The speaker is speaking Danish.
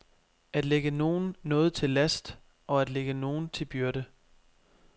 At lægge nogen noget til last og at ligge nogen til byrde.